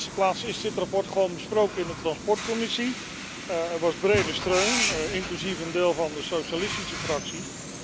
In de eerste plaats is dit verslag gewoon besproken in de transportcommissie. Er was brede steun, inclusief van een deel van de socialistische fractie.